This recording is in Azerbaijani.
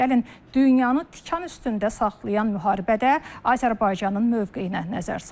Gəlin, dünyanı tikan üstündə saxlayan müharibədə Azərbaycanın mövqeyinə nəzər salaq.